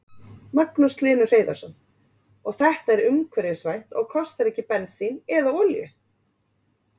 Magnús Hlynur Hreiðarsson: Og þetta er umhverfisvænt og kostar ekki bensín eða olíu?